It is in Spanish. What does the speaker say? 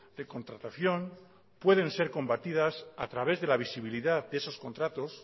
de contratación pueden ser combatidas a través de la visibilidad de esos contratos